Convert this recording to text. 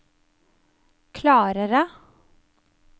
klarere